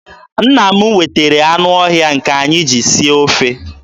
Nna m wetara anụ ọhịa nke anyị ji sie ofe.